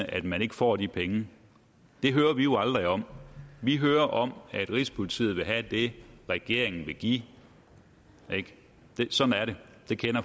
at man ikke får de penge det hører vi jo aldrig om vi hører om at rigspolitiet vil have det regeringen vil give sådan er det